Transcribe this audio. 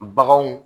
Baganw